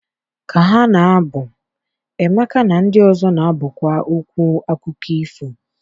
ka ha na-abụ, Emeka na ndị ọzọ na-abụkwa okwu akụkọ ifo.